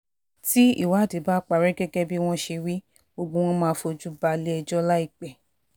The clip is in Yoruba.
tí ìwádìí bá parí gẹ́gẹ́ bí wọ́n ṣe wí gbogbo wọn máa fojú balẹ̀-ẹjọ́ láìpẹ́